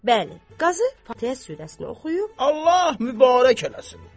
Bəli, qazı fatihə surəsini oxuyub, Allah mübarək eləsin.